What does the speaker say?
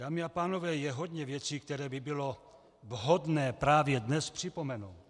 Dámy a pánové, je hodně věcí, které by bylo vhodné právě dnes připomenout.